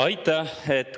Aitäh!